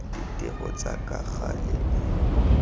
ditiro tsa ka gale e